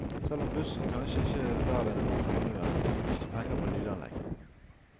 Selv om bussen kanskje ikke er verd noen formue, brukes det penger på lydanlegg.